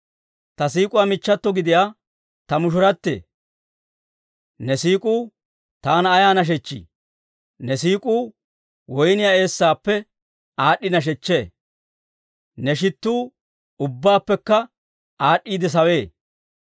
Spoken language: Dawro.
Ta siik'uwaa michchato gidiyaa ta mushurate! Ne siik'uu taana ayaa nashechchii! Ne siik'uu woyniyaa eessaappe aad'd'i nashechchee; ne shittuu ubbabaappekka aad'd'iide sawee.